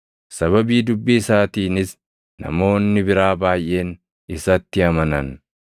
Sababii dubbii isaatiinis namoonni biraa baayʼeen isatti amanan.